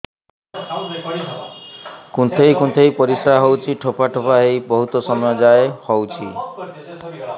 କୁନ୍ଥେଇ କୁନ୍ଥେଇ ପରିଶ୍ରା ହଉଛି ଠୋପା ଠୋପା ହେଇ ବହୁତ ସମୟ ଯାଏ ହଉଛି